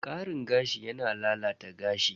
Karin gashi yana lalata gashi.